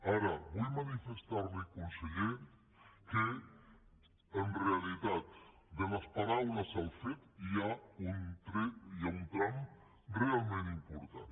ara vull manifestar li conseller que en realitat de les paraules als fets hi ha un tram realment important